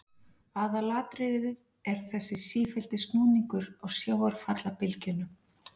Aðalatriðið er þessi sífelldi snúningur á sjávarfallabylgjunum.